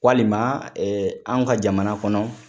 Walima an ka jamana kɔnɔ